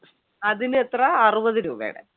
അതിനെത്ര? അറുപത് രൂപയുടെ